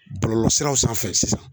Bɔlɔlɔsiraw sanfɛ sisan